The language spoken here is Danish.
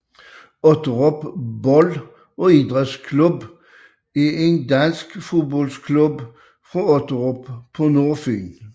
Otterup Bold og Idrætsklub er en dansk fodboldklub fra Otterup på Nordfyn